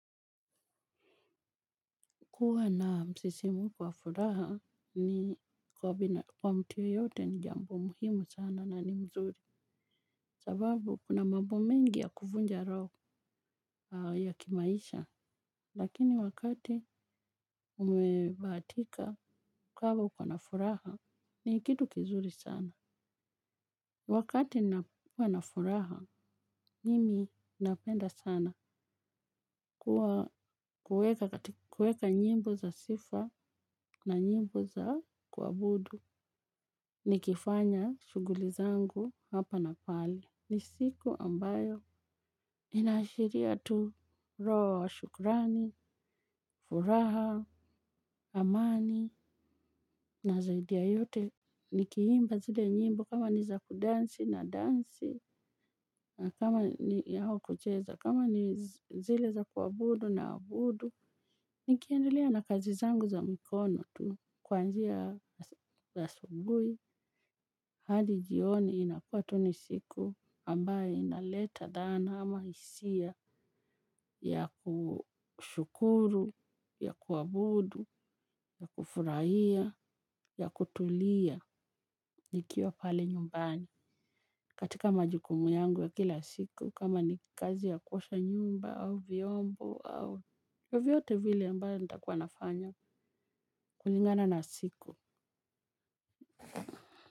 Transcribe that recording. Kuwa na msisimko wa furaha ni kwa mtu yoyote ni jambo muhimu sana na ni mzuri. Sababu kuna mambo mengi ya kuvunja roho ya kimaisha. Lakini wakati umebahatika kwamba uko na furaha ni kitu kizuri sana. Wakati nakua na furaha mimi napenda sana. Kueka nyimbo za sifa na nyimbo za kuabudu. Nikifanya shughuli zangu hapa na pale. Ni siku ambayo inaashiria tu roho wa shukrani, furaha, amani na zaidi ya yote. Nikiimba zile nyimbo kama ni za kudansi na dansi kama ni yao kucheza. Kama ni zile za kuabudu naabudu. Nikiendelea na kazi zangu za mikono tu. Kuanzia za asubuhi hadi jioni inakua tu ni siku ambayo inaleta dhana ama hisia ya kushukuru, ya kuabudu, ya kufurahia, ya kutulia nikiwa pale nyumbani katika majukumu yangu ya kila siku kama ni kazi ya kuosha nyumba au viombo au vyovyote vile ambayo nitakuwa nafanya kulingana na siku.